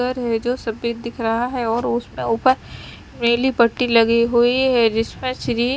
डर है जो सफेद दिख रहा है और उसमें उपर पीली पट्टी लगी हुई है जिसमे श्री--